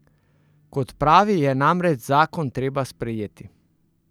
Kot pravi, je namreč zakon treba sprejeti.